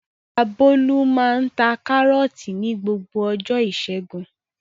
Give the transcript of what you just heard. Ìyá Bólú máa ń ta Kárọ́tì ní gbogbo ọjọ́ ìṣẹ́gun.